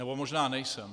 Nebo možná nejsem.